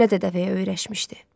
Kölə dəvəyə öyrəşmişdi.